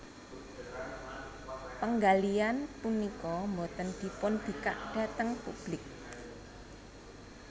Penggalian punika boten dipunbikak dhateng publik